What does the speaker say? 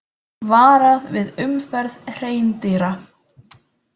Varað við umferð hreindýra